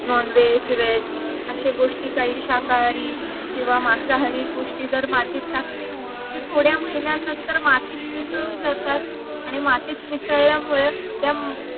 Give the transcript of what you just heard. nonveg veg अश्या गोष्टी काही शाकाहारी किंवा मांसाहारी गोष्टी जर मातीत टाकले ते थोड्या महिन्यानंतर मातीत मिसळून जातात आणि मातीत मिसळल्या मुडेच त्या